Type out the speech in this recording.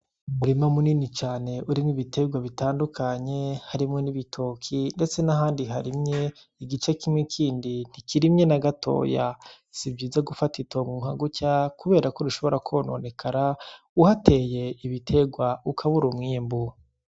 Umurima munini cane urimwo ibitegwa bitandukanye. Harimwo n'ibitoki, ndetse n'ahandi harimye. Igice kimwe kindi ntikirimye na gatoya. Sivyiza gufata itongo nka gutya kuberako rishobora kwononekara, uhateye ibitegwa ukabura umwimbu.